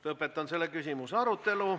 Lõpetan selle küsimuse arutelu.